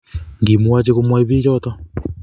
ngimwochi komwai bik choto